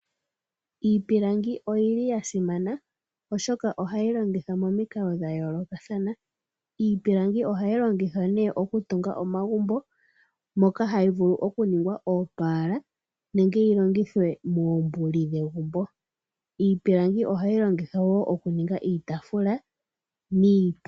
Iipilangi oyili ya simana oshoka ohayi longithwa momikalo dha yoolokathana. Iipilangi ohayi longithwa ne oku tunga omagumbo, moka hayi vulu oku ningwa oopala nenge yiilongithwe moombuli dhegumbo. Iipilangi ohayi longithwa wo oku ninga iitafula niipundi.